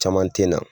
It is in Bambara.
Caman tɛ na